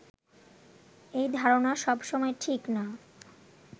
এ ধারণা সবসময় ঠিক না